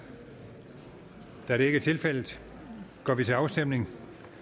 da det ikke er tilfældet går vi til afstemning